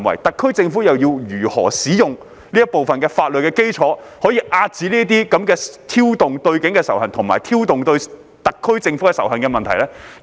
特區政府應如何使用這一部分的法律基礎，遏止這種挑動對警方及特區政府仇恨的行為？